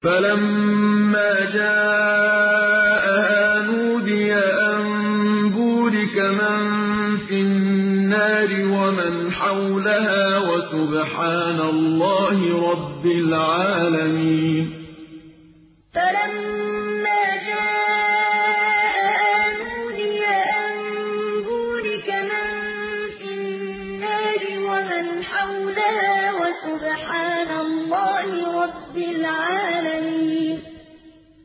فَلَمَّا جَاءَهَا نُودِيَ أَن بُورِكَ مَن فِي النَّارِ وَمَنْ حَوْلَهَا وَسُبْحَانَ اللَّهِ رَبِّ الْعَالَمِينَ فَلَمَّا جَاءَهَا نُودِيَ أَن بُورِكَ مَن فِي النَّارِ وَمَنْ حَوْلَهَا وَسُبْحَانَ اللَّهِ رَبِّ الْعَالَمِينَ